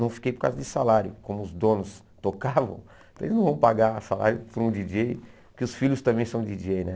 Não fiquei por causa de salário, como os donos tocavam, então eles não vão pagar salário para um djíi djêi, porque os filhos também são djíi djêi né.